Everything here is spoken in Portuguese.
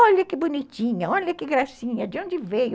Olha que bonitinha, olha que gracinha, de onde veio?